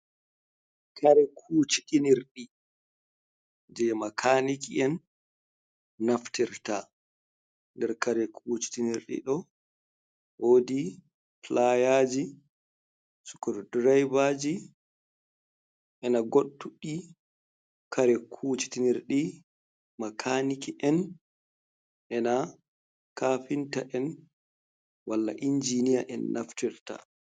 Kare kuciinirdi je makaniki en naftirta nder kare kucitinirdi do wodi pilayaji sukor diribaji ena godtudi kare kuitinirdi makaniki’en ena kafinta en wal injinia en naftirta.